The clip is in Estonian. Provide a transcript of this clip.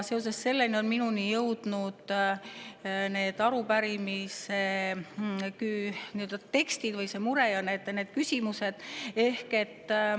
Seoses sellega on minuni jõudnud see arupärimise tekst või see mure ja need küsimused.